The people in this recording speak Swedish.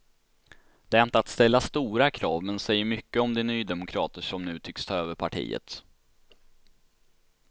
Det är inte att ställa stora krav, men säger mycket om de nydemokrater som nu tycks ta över partiet.